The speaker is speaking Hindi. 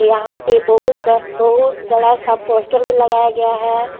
यहां पे बहुत ब बहुत बड़ा सा पोस्टर भी लगाया गया है।